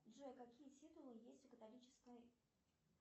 джой какие титулы есть у католической